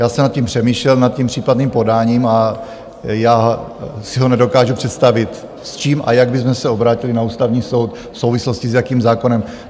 Já jsem nad tím přemýšlel, nad tím případným podáním, a já si ho nedokážu představit, s čím a jak bychom se obrátili na Ústavní soud, v souvislosti s jakým zákonem.